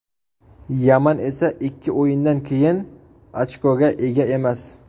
Yaman esa ikki o‘yindan keyin ochkoga ega emas.